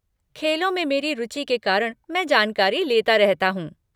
खेलों में मेरी रुचि के कारण मैं जानकारी लेता रहता हूँ।